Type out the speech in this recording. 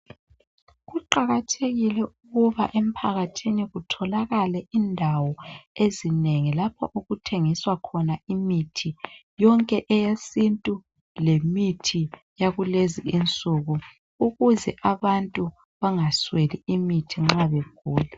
Kuqakathekile ukuba emphakathini kutholakala indawo ezinengi lapho okuthengiswa khona imithi yonke eyesintu lemithi yakulezi insuku ukuze abantu bangasweli imithi nxa begula.